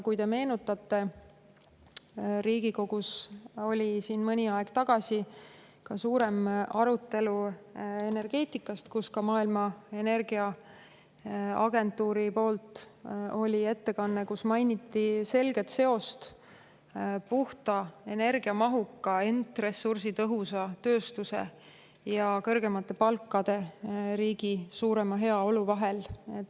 Kui te meenutate, siis Riigikogus oli mõni aeg tagasi suurem arutelu energeetika kohta, mille käigus tegi Energiaagentuur ettekande, kus mainiti selget seost puhta energia mahuka, ent ressursitõhusa tööstuse, kõrgemate palkade ja riigi suurema heaolu vahel.